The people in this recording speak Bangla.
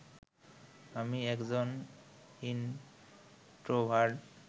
আমি একজন ইনট্রোভার্ট